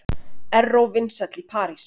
Erró vinsæll í París